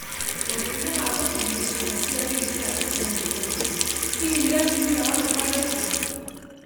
ũndũire wa gũtinia ciĩga cia thiri cia atumia nĩ ũgwati, hihi nĩ atumia othe marĩkagia.